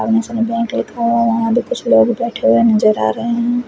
यहाँ पर कुछ लोग बैठे हुए नजर आ रहे है।